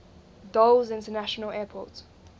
dulles international airport